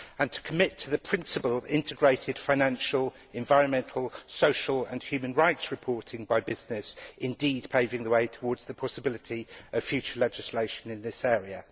to commit to the principle of integrated financial, environmental, social and human rights reporting by business indeed paving the way towards the possibility of future legislation in this area